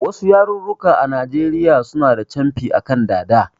Wasu yarurruka a Najeriya suna da camfi a kan dada